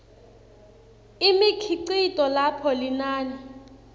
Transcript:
imikhicito lapho linani